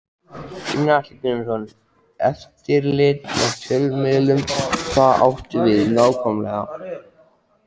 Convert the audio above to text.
Gunnar Atli Gunnarsson: Eftirlit með fjölmiðlum, hvað áttu við nákvæmlega?